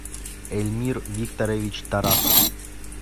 эльмир викторович тарасов